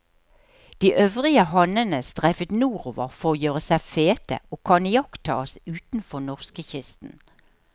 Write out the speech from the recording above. De øvrige hannene streifer nordover for å gjøre seg fete, og kan iakttas utenfor norskekysten.